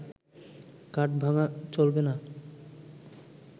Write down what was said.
কাঠ ভাঙা চলবে না